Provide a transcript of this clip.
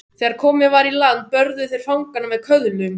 Þegar komið var í land börðu þeir fangana með köðlum.